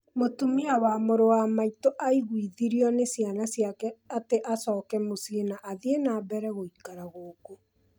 Mũtumia wa mũrũ wa maitũ aaiguithirio nĩ ciana ciake atĩ acoke mũciĩ na athiĩ na mbere gũikara gũkũ.